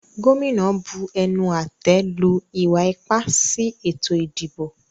Gómìnà bu ẹnu-àtẹ́ lu ìwa-ipá sí ètò-ìdìbò.